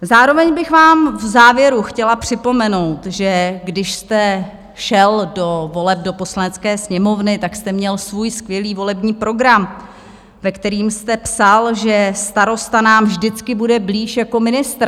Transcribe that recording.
Zároveň bych vám v závěru chtěla připomenout, že když jste šel do voleb do Poslanecké sněmovny, tak jste měl svůj skvělý volební program, ve kterém jste psal, že starosta nám vždycky bude blíž jako ministr.